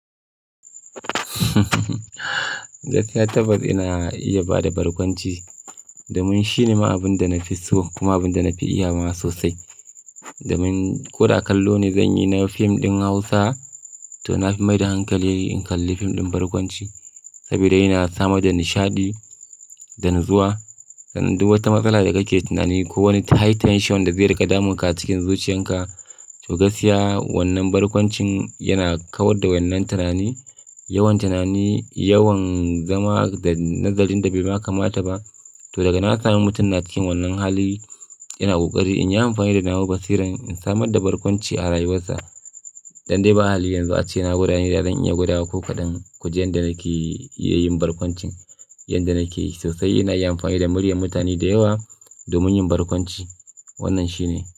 Gaskiya tabbas ina iya ba da barkwanci domin shine ma abin da na fi so kuma abin da na fi iyawa sosai. Domin ko da kallo ne zan yi na fim ɗin Hausa to na fi maida hankali in kalli fim ɗin barkwanci saboda yana sama da nishaɗi da natsuwa. Sannan du wata matsala da kake tunani ko wani high tension da zai riƙe damunka cikin zuciyarka, to gaskiya wannan barkwancin yana kawar da wannan tunani, yawan tunani, yawan zama da nazarin da bai ma kamata ba. To daga nan zami mutum na cikin wannan hali, ina ƙoƙari in yi amfani da nawa basira in samar da barkwanci a rayuwarsa. Dan dai ba hali yanzu ace na gwadane da zan iya gwadawa ko kaɗane. Kuje inda nake yayin barkwancin, yanda nake sosai ina iya amfani da muryar mutane da yawa domin yin barkwanci. Wannan shine.